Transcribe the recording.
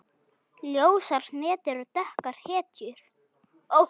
Ljósar hetjur og dökkar hetjur.